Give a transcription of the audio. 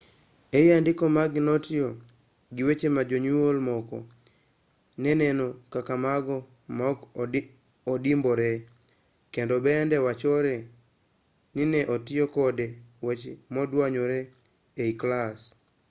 ei andiko mage notiyo gi weche ma jonyuol moko ne neno kaka mago ma ok odimbore kendo bende wachore ni ne otiyo kod weche moduanyore ei klas